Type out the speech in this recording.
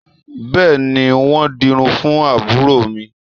Bẹ́ẹ̀ni, wọn ń dirun fún àbúrò mi